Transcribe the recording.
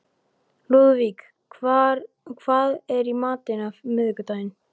Lúðvík, hvað er í matinn á miðvikudaginn?